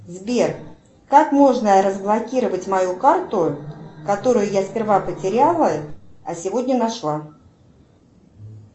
сбер как можно разблокировать мою карту которую я сперва потеряла а сегодня нашла